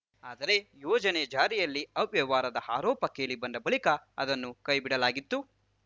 ಆದರೆ ಯೋಜನೆ ಜಾರಿಯಲ್ಲಿ ಅವ್ಯವಹಾರದ ಆರೋಪ ಕೇಳಿಬಂದ ಬಳಿಕ ಅದನ್ನು ಕೈಬಿಡಲಾಗಿತ್ತು